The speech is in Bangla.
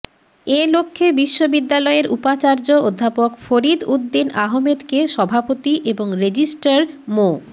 এ লক্ষ্যে বিশ্ববিদ্যালয়ের উপাচার্য অধ্যাপক ফরিদ উদ্দিন আহমেদকে সভাপতি এবং রেজিস্ট্রার মো